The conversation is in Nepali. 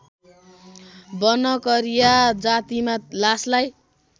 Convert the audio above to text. बनकरिया जातिमा लासलाई